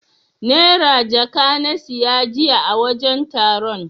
Naira jaka na siya jiya a wajen taron.